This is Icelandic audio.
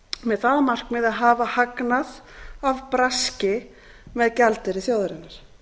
með það að markmiði að hafa hagnað af braski með gjaldeyri þjóðarinnar